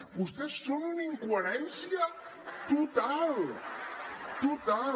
vostès són una incoherència total total